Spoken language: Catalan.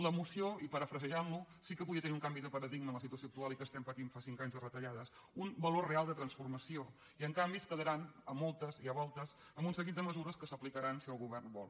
la moció i parafrasejant lo sí que podia tenir un canvi de paradigma en la situació actual i que estem patint fa cinc anys de retallades un valor real de transformació i en canvi es quedaran a moltes i a voltes amb un seguit de mesures que s’aplicaran si el govern vol